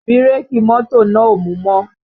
Bírèkì mọ́tò náà ò mú mọ́